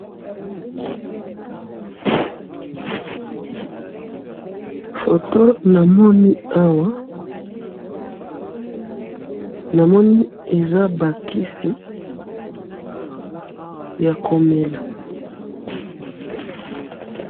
Foto namoni awa, namoni eza bakisi yakomela.